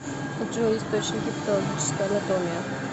джой источники патологическая анатомия